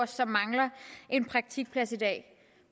som mangler en praktikplads i dag